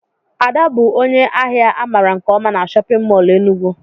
Ada bụ ónyé áhiá a mara nke ọma n'shóppin mol Enugu